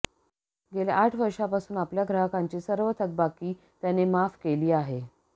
गेल्या आठ वर्षांपासून आपल्या ग्राहकांची सर्व थकबाकी त्याने माफ केली आहे